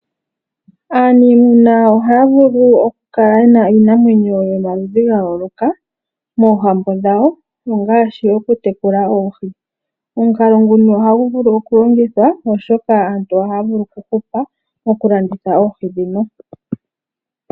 Aaniimuna ohaya vulu oku kala yena iinamwenyo yomaludhi gayooloka moohambo dhawo ongaashi oku tekula oohi. Omukalo nguno ohagu vulu oku longithwa oshoka aantu ohaavulu okuhupa mokulanditha oohi dhino.